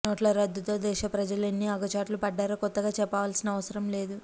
నోట్లరద్దుతో దేశ ప్రజలు ఎన్ని అగచాట్లు పడ్డారో కొత్తగా చెప్పాల్సిన అవసరం లేదు